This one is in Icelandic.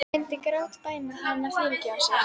Hún myndi grátbæna hann um að fyrirgefa sér.